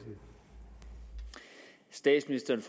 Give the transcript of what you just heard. statsministeren